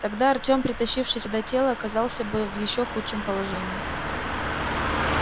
тогда артем притащивший сюда тело оказался бы в ещё худшем положении